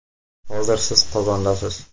Hozir siz Qozondasiz.